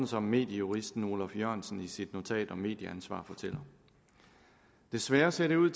som mediejuristen oluf jørgensen fortæller i sit notat om medieansvar desværre ser det ud